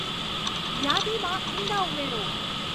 યાદીમાં ઈંડા ઉમેરો